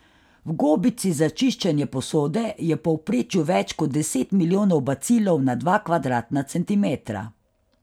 V gobici za čiščenje posode je v povprečju več kot deset milijonov bacilov na dva kvadratna centimetra.